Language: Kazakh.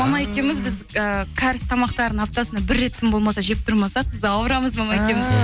мама екеуміз біз і кәріс тамақтарын аптасына бір рет тым болмаса жеп тұрмасақ біз ауырамыз мама екеуміз ыыы